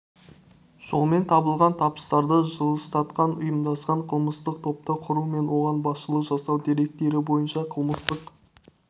жолмен табылған табыстарды жылыстатқан ұйымдасқан қылмыстық топты құру мен оған басшылық жасау деректері бойынша қылмыстық